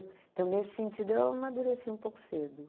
Então, nesse sentido, eu amadureci um pouco cedo.